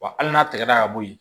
Wa hali n'a tɛgɛ la ka bɔ yen